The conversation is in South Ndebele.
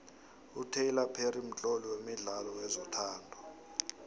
utylor perry mtloli wemidlalo wezothando